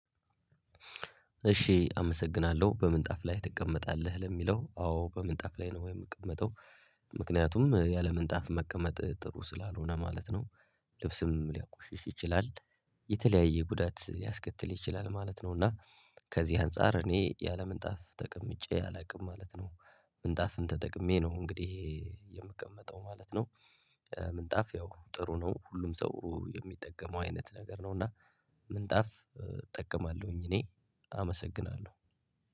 እሺ አመሰግናለሁ። በምን ጣፍ ላይ ትቀመጣለህ? ለሚለው አዎ በምን ጣፍ ላይ ነው የምቀመጠው። ምክንያቱም ያለምንጣፍ መቀመጥ ጥሩ ስላልሆነ ማለት ነው። ልብስም ሊያቆሽሽ ይችላል። የተለያየ ጉዳት ሊያስከትል ይችላል ማለት ነው። እና ከዚህ አንፃር እኔ ያለምንጣፍ ተቀምጬ አላውቅም ማለት ነው። ምንጣፍን ተጠቅሜ ነው እንግዲህ የምቀመጠው ማለት ነው። ምንጣፍ ያው ጥሩ ነው ሁሉም ሰው የሚጠቀመው አይነት ነገር ነው። እና ምንጣፍ እጠቀማለሁኝ እኔ። አመሰግናለሁ!